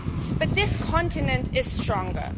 But this continent is stronger.